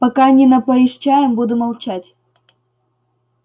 пока не напоишь чаем буду молчать